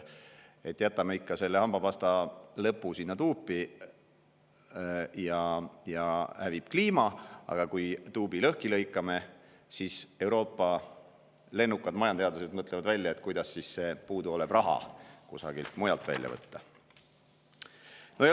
Kui jätame ikka hambapastat natuke tuubi, siis kliima hävib, aga kui tuubi lõhki lõikame, siis Euroopa lennukad majandusteadlased mõtlevad välja, kuidas see puuduolev raha kusagilt mujalt välja võtta.